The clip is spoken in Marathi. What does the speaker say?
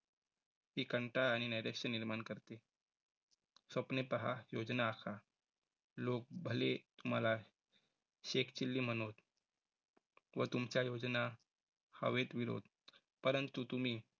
ती कंटाळ आणि निरीक्षण निर्माण करते. स्वप्न पहा. योजना आखा. लोक भले तुम्हाला शेख चिल्ली म्हनोत, व तुमच्या योजना हवेत विरोध परंतु तुम्ही